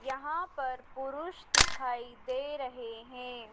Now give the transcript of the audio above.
यहाँ पर पुरुष दिखाई दे रहें हैं।